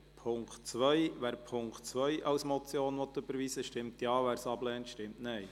Wer den Punkt 2 als Motion überweisen will, stimmt Ja, wer dies ablehnt, stimmt Nein.